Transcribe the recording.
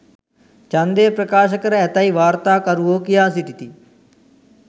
ඡන්දය ප්‍රකාශ කර ඇතැයි වාර්තාකරුවෝ කියා සිටිති